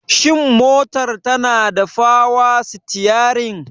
Shin motar tanada power steering?